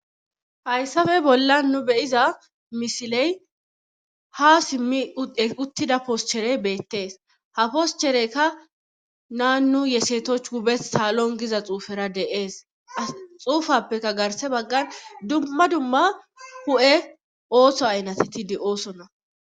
Hayssafe bolla nu beyiza misiley ha simmi uttida poschere beettees ha poschereykka naanu yesetoch hubes salon giza xuufera deees a xuufappeka garse baggan dumma dumma hu7e ooso aynateti di oosonna